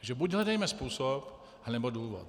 Takže buď hledejme způsob, anebo důvod.